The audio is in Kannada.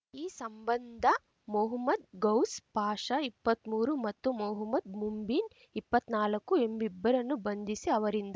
ಈ ಸಂಬಂಧ ಮೊಹಮ್ಮದ್‌ ಗೌಸ್‌ ಪಾಶಾ ಇಪ್ಪತ್ಮೂರು ಮತ್ತು ಮೊಹಮ್ಮದ್‌ ಮುಂಬೀನ್‌ ಇಪ್ಪತ್ನಾಲ್ಕು ಎಂಬಿಬ್ಬರನ್ನು ಬಂಧಿಸಿ ಅವರಿಂದ